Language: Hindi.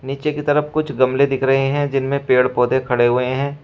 नीचे की तरफ कुछ गमले दिख रहे हैं जिनमें पेड़ पौधे खड़े हुए हैं।